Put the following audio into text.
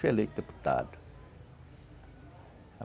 Foi eleito deputado.